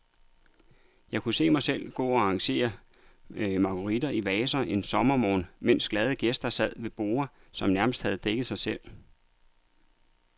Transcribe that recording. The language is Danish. Jeg kunne se mig selv gå og arrangere marguritter i vaser en sommermorgen, mens glade gæster sad ved borde, som nærmest havde dækket sig selv.